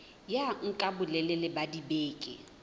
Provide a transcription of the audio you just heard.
ya nka bolelele ba dibeke